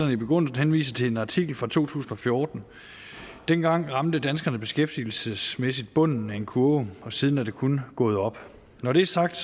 i begrundelsen henviser til en artikel fra to tusind og fjorten dengang ramte danskerne beskæftigelsesmæssigt bunden af en kurve og siden er det kun gået opad når det er sagt